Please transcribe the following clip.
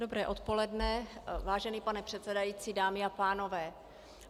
Dobré odpoledne, vážený pane předsedající, dámy a pánové.